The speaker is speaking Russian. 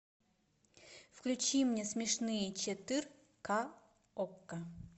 включи мне смешные четырка окко